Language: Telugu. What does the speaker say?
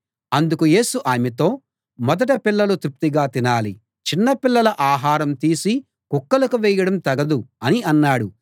అందుకు యేసు ఆమెతో మొదట పిల్లలు తృప్తిగా తినాలి చిన్నపిల్లల ఆహారం తీసి కుక్కలకు వేయడం తగదు అని అన్నాడు